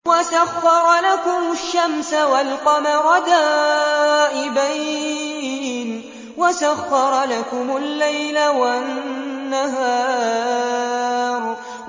وَسَخَّرَ لَكُمُ الشَّمْسَ وَالْقَمَرَ دَائِبَيْنِ ۖ وَسَخَّرَ لَكُمُ اللَّيْلَ وَالنَّهَارَ